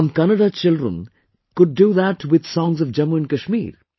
some Kannada children could that with songs of Jammu and Kashmir